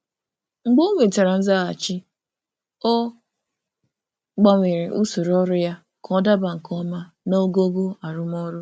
Mgbe o nwetara nzaghachi, ọ gbanwere usoro ọrụ ya ka ọ daba nke ọma naogogo arụmọrụ.